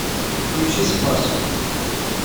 включи спас